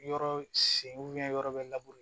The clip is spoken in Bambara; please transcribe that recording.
Yɔrɔ sen yɔrɔ bɛ